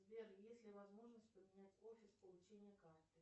сбер есть ли возможность поменять офис получения карты